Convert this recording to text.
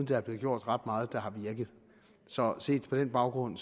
der er blevet gjort ret meget der har virket så set på den baggrund